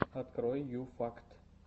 открой ю факт